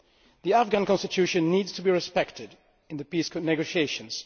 The Afghan Constitution needs to be respected in the peace negotiations.